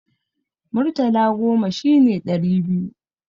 Murtala goma shine ɗari biyu.